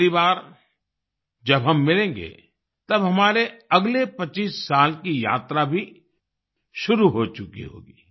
अगली बार जब हम मिलेंगे तब हमारे अगले 25 साल की यात्रा भी शुरू हो चुकी होगी